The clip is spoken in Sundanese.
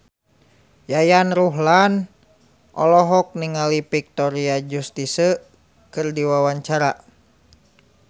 Yayan Ruhlan olohok ningali Victoria Justice keur diwawancara